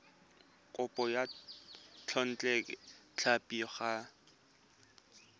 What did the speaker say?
kopo ya thekontle tlhapi go